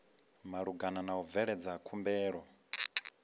malugana na u bveledza khumbelo